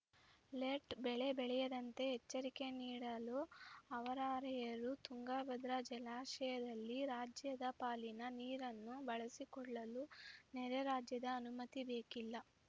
late ಬೆಳೆಬೆಳೆಯದಂತೆ ಎಚ್ಚರಿಕೆ ನೀಡಲು ಅವರಾರ‍ಯರು ತುಂಗಭದ್ರಾ ಜಲಾಶಯದಲ್ಲಿ ರಾಜ್ಯದ ಪಾಲಿನ ನೀರನ್ನು ಬಳಸಿಕೊಳ್ಳಲು ನೆರೆ ರಾಜ್ಯದ ಅನುಮತಿ ಬೇಕಿಲ್ಲ